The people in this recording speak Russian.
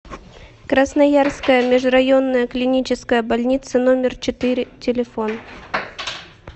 красноярская межрайонная клиническая больница номер четыре телефон